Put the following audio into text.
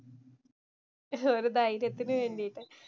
ഒരു ധൈര്യത്തിന് വേണ്ടിട്ട്.